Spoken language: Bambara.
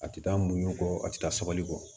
A tɛ taa muɲu kɔ a ti taa sabali kɔ